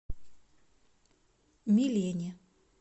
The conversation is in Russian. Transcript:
милене